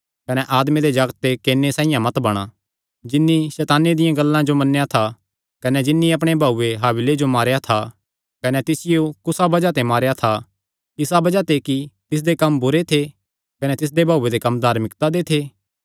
कने आदमे दे जागते केने साइआं मत बणा जिन्नी सैताने दियां गल्लां जो मन्नेया था कने जिन्नी अपणे भाऊये हाबिले जो मारेया था कने तिसियो कुसा बज़ाह ते मारेया था इसा बज़ाह ते कि तिसदे कम्म बुरे थे कने तिसदे भाऊये दे कम्म धार्मिकता दे थे